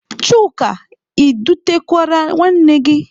Chuka, ị dutekwara nwanne gị?